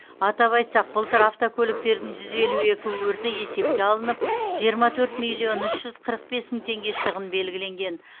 атап айтсақ былтыр автокөліктердің жүз елу екі өрті есепке алынып жиырма төрт миллион үш жүз қырық бес мың теңге шығын белгіленген